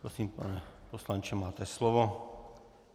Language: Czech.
Prosím, pane poslanče, máte slovo.